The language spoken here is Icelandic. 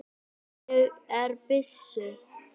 Ég er byssu